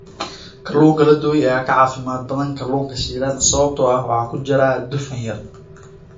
Kalluunka la dubay ayaa ka caafimaad badan kalluunka shiilan sababtoo ah waxa ku jira dufan yar.